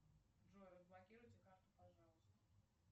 джой разблокируйте карту пожалуйста